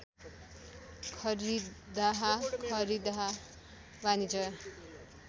खरीदाहा खरीदाहा वाणिज्य